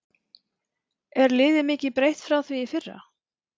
Er liðið mikið breytt frá því í fyrra?